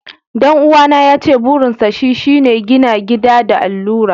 Dan'uwana yace burinsa shi shi ne gina gida da allura.